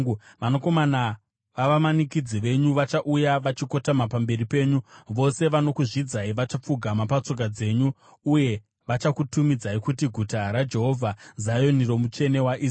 Vanakomana vavamanikidzi venyu vachauya vachikotama pamberi penyu; vose vanokuzvidzai vachapfugama patsoka dzenyu uye vachakutumidzai kuti Guta raJehovha, Zioni roMutsvene waIsraeri.